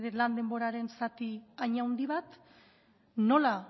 lan denboraren zati hain handi bat nola